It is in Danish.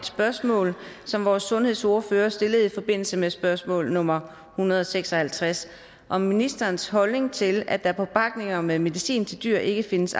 spørgsmål som vores sundhedsordfører stillede i forbindelse med spørgsmål nummer hundrede og seks og halvtreds om ministerens holdning til at der på pakninger med medicin til dyr ikke findes